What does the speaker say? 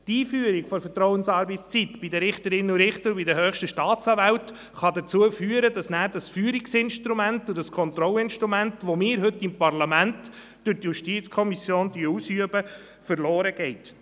Die Einführung der Vertrauensarbeitszeit bei den Richterinnen und Richtern und bei den höchsten Staatsanwälten kann dazu führen, dass danach dieses Führungsinstrument und dieses Kontrollinstrument, das wir heute seitens des Parlaments durch die JuKo ausüben, verloren geht.